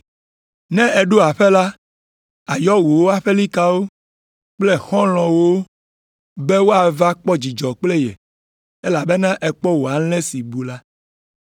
Ne èɖo aƒe la, àyɔ wò aƒelikawo kple xɔlɔ̃wo be woava kpɔ dzidzɔ kple ye, elabena èkpɔ wò alẽ si bu la.